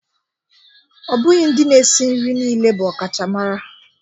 Ọ bụghị ndị na-esi nri niile bụ ọkachamara